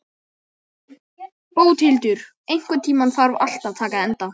Bóthildur, einhvern tímann þarf allt að taka enda.